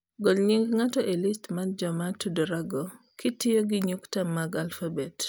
Gol nying ng'ato e list mar joma tudorago kitiyo gi nyukta mag alfabet